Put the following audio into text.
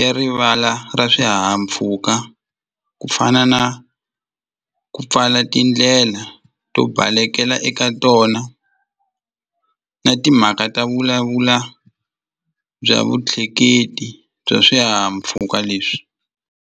ya rivala ra swihahampfuka ku fana na ku pfala tindlela to balekela eka tona na timhaka ta vulavula bya vutleketi bya swihahampfhuka leswi.